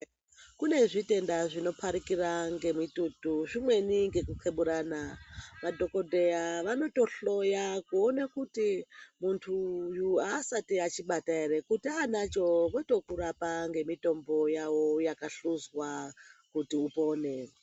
Kune zvitenda zvinoparikira ngemitutu zvimweni ngekuxeburana. Madhokoteya vanotohloya kuone kuti muntu uyu haasati achibata here. Kuti aanacho votokurapa ngemitombo yavo yakahluzwa kuti upone.